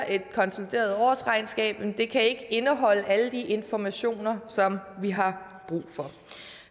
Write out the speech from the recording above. et konsolideret årsregnskab kan ikke indeholde alle de informationer som vi har brug for